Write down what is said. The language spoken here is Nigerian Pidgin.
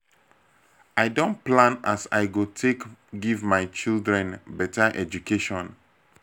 i don plan as i go take give my children beta education.